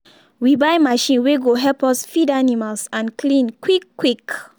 we buy machine wey go help us feed animals and clean quick quick.